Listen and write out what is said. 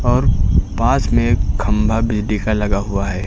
और पास में एक खंभा भी दिखा लगा हुआ है।